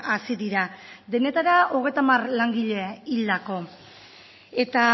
hazi dira denetara hogeita hamar langile hildako eta